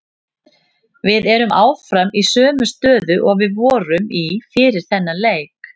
Við erum áfram í sömu stöðu og við vorum í fyrir þennan leik.